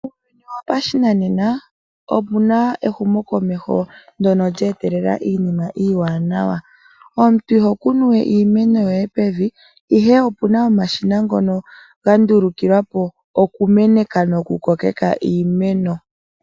Uuyuni wopashinanena omu na ehumokomeho ndyono lye etelela iinima iiwanawa. Omuntu iho kunu we iimeno yoye pevi, ihe opu na omashina ngono ga ndulukilwa po okumeneka nokukokeka iimeno.